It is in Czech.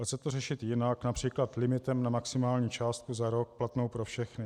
Dá se to řešit jinak, například limitem na maximální částku za rok platnou pro všechny.